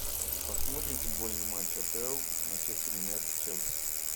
посмотрим футбольный матч апл манчестер юнайтед челси